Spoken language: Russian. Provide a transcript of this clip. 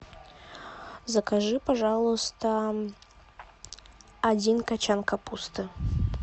закажи пожалуйста один кочан капусты